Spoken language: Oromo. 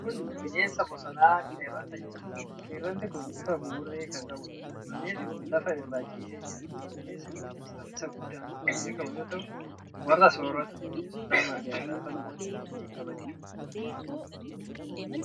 Kun bineensa bosonaa qeerramsa jedhamuudha. Qeerramsi kun bifa buburree kan qabuudha. Bineensi kun lafa irra ciisee jira. Bineensi kun saffisa guddaan kan beekamu yoo ta'u, warra sooratu bineensoota marga nyaatan salphumatti reebee qabachuu danda'a.